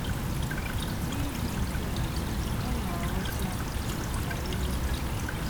N’ihi nke a, ọ na - aghọta arịlịka.